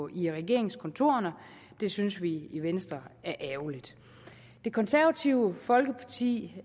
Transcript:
i regeringskontorerne det synes vi i venstre er ærgerligt det konservative folkeparti